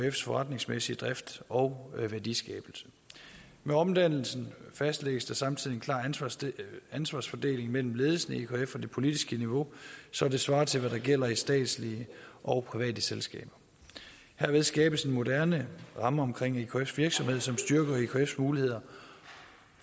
ekfs forretningsmæssige drift og værdiskabelse med omdannelsen fastlægges der samtidig en klar ansvarsfordeling mellem ledelsen i ekf og det politiske niveau så det svarer til hvad der gælder i statslige og private selskaber herved skabes en moderne ramme omkring ekfs virksomhed som styrker ekfs muligheder